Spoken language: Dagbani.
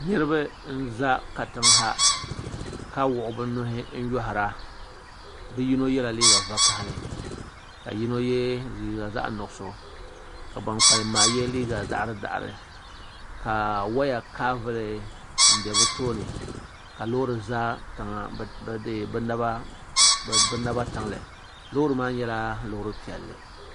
Niriba n za katiŋa ha ka wuɣi bi nuhi n yoihir a bi yino ye la liiga vakahali ka yino ye liiga zaɣi nuɣiso ka bani kpalim maa ye liiga daɣiri daɣiri waya kaa vuli n bɛ bi tooni ka loori za bi naba tiŋli loori maa nyɛla loori piɛlli.